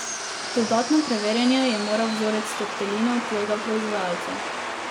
V dodatno preverjanje je moral vzorec tortelinov tujega proizvajalca.